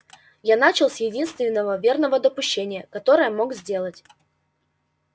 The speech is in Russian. я начал с единственного верного допущения которое мог сделать